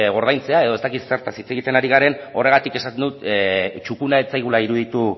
ordaintzea edo ez dakit zertaz hitz egiten ari garen horregatik esaten dut txukuna ez zaigula iruditu